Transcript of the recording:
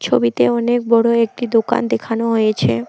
ছবিতে অনেক বড় একটি দোকান দেখানো হয়েছে।